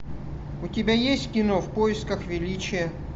у тебя есть кино в поисках величия